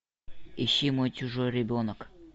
ищи мой чужой ребенок